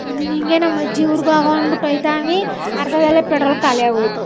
ಒಂದಿನ ಹಿಂಗೆ ನಮ್ಮ ಅಜ್ಜಿ ಊರ್ಗೆ ಹೋಗೋ ಅನ್ನಬಿಟ್ಟು ಹೋಯ್ ತಾವಿ ಅರ್ಧದಲ್ಲೇ ಪೆಟ್ರೋಲ್ ಕಾಲಿ ಆಗೋಯ್ತು.